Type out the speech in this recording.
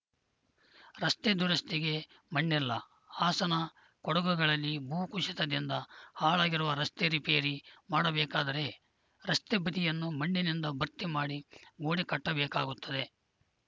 ರಸ್ತೆ ದುರಸ್ತಿಗೆ ಮಣ್ಣಿಲ್ಲ ಹಾಸನ ಕೊಡಗುಗಳಲ್ಲಿ ಭೂ ಕುಸಿತದಿಂದ ಹಾಳಾಗಿರುವ ರಸ್ತೆ ರಿಪೇರಿ ಮಾಡಬೇಕಾದರೆ ರಸ್ತೆ ಬದಿಯನ್ನು ಮಣ್ಣಿನಿಂದ ಭರ್ತಿ ಮಾಡಿ ಗೋಡೆ ಕಟ್ಟಬೇಕಾಗುತ್ತದೆ